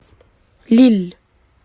лилль